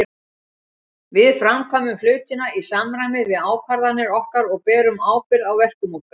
Við framkvæmum hlutina í samræmi við ákvarðanir okkar og berum ábyrgð á verkum okkar.